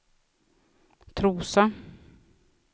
Trosa